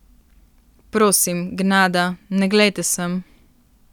Prosim, gnada, ne glejte sem.